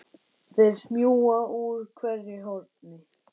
Þær smjúga úr hverju horni.